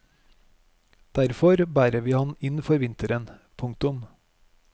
Derfor bærer vi han inn for vinteren. punktum